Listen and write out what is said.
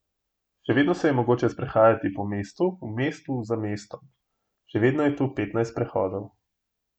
Še vedno se je mogoče sprehajati po mestu v mestu za mestom, še vedno je tu petnajst prehodov.